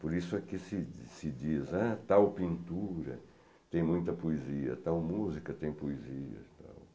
Por isso é que se se diz que tal pintura tem muita poesia, tal música tem poesia e tal.